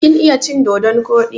Kin iya cin dodon koɗi?